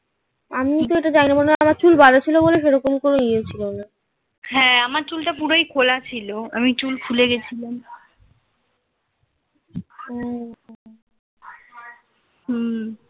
ও আমি তো এটা জানি না. আমার চুল বাঁধা ছিল বলে সেরকম কোন ইয়ে ছিল না.